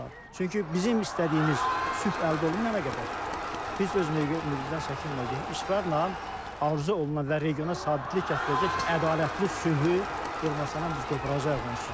Çünki bizim istədiyimiz sülh əldə olunmayana qədər biz öz mövqeyimizdən çəkinməyəcəyik, israrla arzu olunan və regiona sabitlik gətirəcək ədalətli sülhü Ermənistandan biz qoparacağıq onsuz da.